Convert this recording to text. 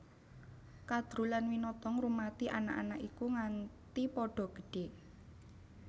Kadru lan Winata ngrumati anak anak iku nganti padha gedhé